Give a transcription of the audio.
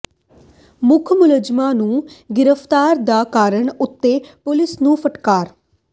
ਮੁੱਖ ਮੁਲਜ਼ਮਾਂ ਨੂੰ ਗ੍ਰਿਫਤਾਰ ਨਾ ਕਰਨ ਉੱਤੇ ਪੁਲਿਸ ਨੂੰ ਫਟਕਾਰ